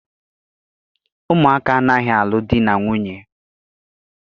Ụmụaka anaghị alụ di na nwunye